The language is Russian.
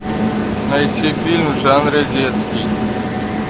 найти фильм в жанре детский